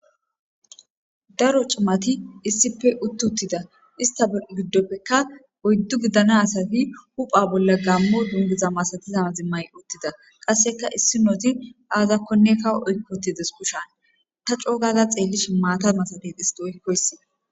daro cumati issippe utti uttida ista be giddoppeka oyddu gidana asati hupha bolla gammo dungiza masatizama zimmay uttida qasseka issi nooti aazakkonne kawo oykkotides kushan ta coogaza xeellish maata masabet histi oykkoyssi